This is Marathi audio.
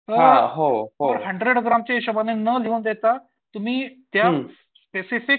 तर हंड्रेड ग्रामच्या हिशोबाने ने लिहून देता तुम्ही त्या स्पेसिफिक